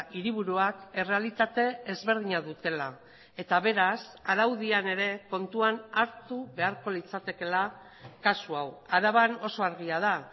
hiriburuak errealitate ezberdina dutela eta beraz araudian ere kontuan hartu beharko litzatekeela kasu hau araban oso argia da